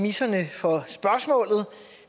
for